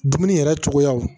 Dumuni yɛrɛ cogoyaw